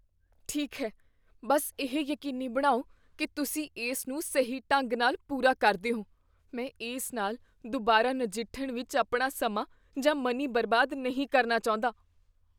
ਠੀਕ ਹੈ, ਬੱਸ ਇਹ ਯਕੀਨੀ ਬਣਾਓ ਕੀ ਤੁਸੀਂ ਇਸ ਨੂੰ ਸਹੀ ਢੰਗ ਨਾਲ ਪੂਰਾ ਕਰਦੇ ਹੋ। ਮੈਂ ਇਸ ਨਾਲ ਦੁਬਾਰਾ ਨਜਿੱਠਣ ਵਿੱਚ ਆਪਣਾ ਸਮਾਂ ਜਾਂ ਮਨੀ ਬਰਬਾਦ ਨਹੀਂ ਕਰਨਾ ਚਾਹੁੰਦਾ।